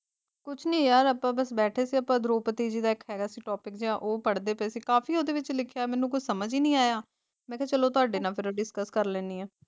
ਕੁਛ ਨੀ ਯਾਰ ਅੱਪਾ ਬਸ ਬੈਠੇ ਸੀ ਅੱਪਾ ਦ੍ਰੋਪਦੀ ਜੀ ਦਾ ਇਕ ਹੈਗਾ ਸੀ ਟੌਪਿਕ ਜੇਹਾ ਉਹ ਪੜ੍ਹਦੀ ਪਏ ਸੀ ਕਾਫੀ ਓਹਦੇ ਵਿਚ ਲਿਖਿਆ ਮੈਨੂੰ ਕੁਛ ਸਮਝ ਹੀ ਨਹੀਂ ਆਇਆ ਮੈਂ ਕਿਹਾ ਚਲੋ ਤੁਹਾਡੇ ਨਾਲ ਕਰਾਂ ਡਿਸਕਸ ਕਰ ਲੇਨੀ ਆ।